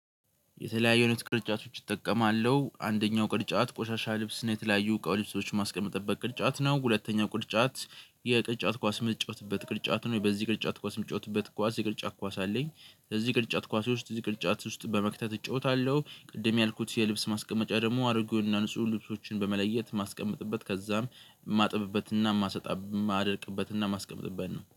የተለያዩ አይነት ቅርጫቶች እጠቀማለሁ አንደኛው ቅርጫት ቆሻሻ ልብስ የተለያዩ እቃ ልብሶች ማስቀምጥበት ቅርጫት ነው ሁለተኛ ቅርጫት የቅርጫት ኳስ የምንጫወትበት ቅርጫት ነው። በዚህ ቅርጫት ኳስ የምጫወትበት ኳስ የቅርጫት ኳስ አለኝ እዚህ ቅርጫት ኳስ ውስጥ እዚህ ቅርጫት ውስጥ በመክተት እጫወታለሁ። ቅድም ያልኩት የልብስ ማስቀመጫ ደግሞ አሮጌው እና ንጹህ ልብሶችን በመለየት ማስቀመጥበት ከዛም የማጥብበት እና የማደርቅበት እና የማስቀምጥበት ነው